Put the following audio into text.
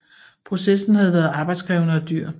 Processen havde været arbejdskrævende og dyr